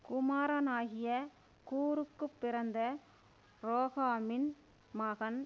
குமாரனாகிய கூருக்குப் பிறந்த ரோகாமின் மகன்